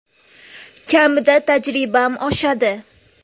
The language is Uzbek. Kamida tajribam oshadi.